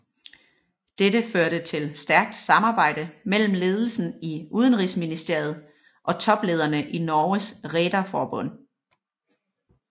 Dette førte til stærkt samarbejde mellem ledelsen i udenrigsministeriet og toplederne i Norges Rederforbund